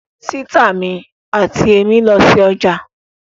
Sìtá mi àti èmí lọ sí ọjà